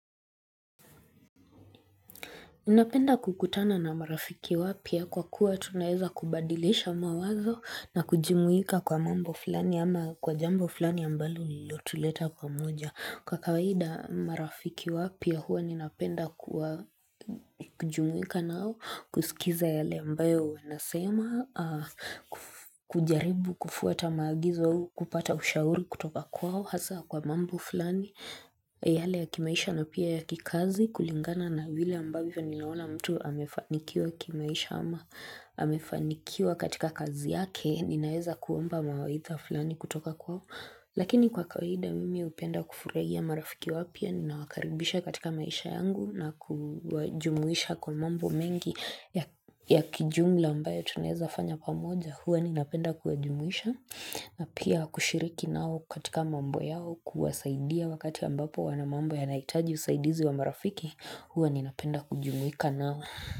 Ninapenda kukutana na marafiki wapya kwa kuwa tunaweza kubadilisha mawazo na kujumuika kwa mambo fulani ama kwa jambo fulani ambalo lilotuleta pamoja. Kwa kawaida marafiki wapya huwa ninapenda kujumuika nao kusikiza yale ambayo wanasema kujaribu kufuata maagizo au kupata ushauri kutoka kwao hasa kwa mambo fulani yale ya kimaisha na pia ya kikazi kulingana na vile ambavyo ninaona mtu amefanikiwa kimaisha ama amefanikiwa katika kazi yake ninaweza kuomba mawaidha fulani kutoka kwao. Lakini kwa kawaida mimi hupenda kufurahia marafiki wapya ninawakaribisha katika maisha yangu na kuwajumuisha kwa mambo mengi ya ya kijumla ambayo tunaweza fanya pamoja huwa ninapenda kuwajumuisha na pia kushiriki nao katika mambo yao kuwasaidia wakati ambapo wana mambo yanahitaji usaidizi wa marafiki huwa ninapenda kujumuika nao.